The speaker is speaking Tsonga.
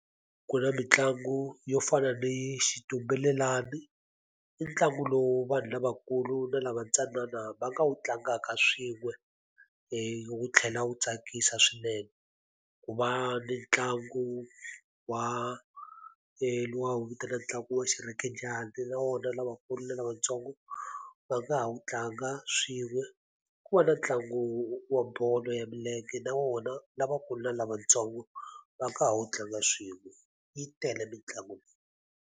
Ku na mitlangu yo fana ni xitumbelelani i ntlangu lowu vanhu lavakulu na lava ntsanana va nga wu tlangaka swin'we wu tlhela wu tsakisa swinene ku va ni ntlangu wa luwa wu vitana ntlangu wa xirhekejani na wona lavakulu na lavatsongo va nga ha wu tlanga swin'we ku va na ntlangu wa bolo ya milenge na wona lavakulu na lavatsongo va nga ha wu tlanga swin'we yi tele mitlangu.